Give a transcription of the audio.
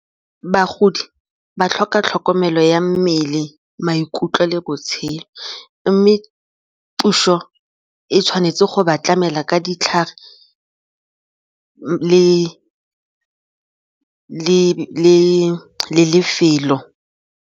Bagodi ba tlhoka tlhokomelo ya mmele, maikutlo le botshelo mme puso e tshwanetse go ba tlamela ka ditlhare le lefelo.